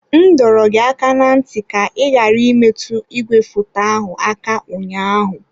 M dọrọ gị aka ná ntị ka ị ghara imetụ igwefoto ahụ aka ụnyaahụ!